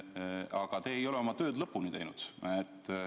Aga te ei ole oma tööd lõpuni teinud.